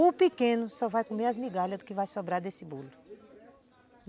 O pequeno só vai comer as migalhas do que vai sobrar desse bolo.